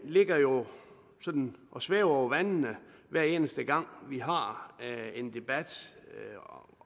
ligger jo sådan og svæver over vandene hver eneste gang vi har en debat